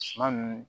Suma nunnu